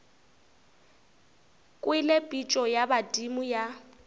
kwele pitšo ya badimo ya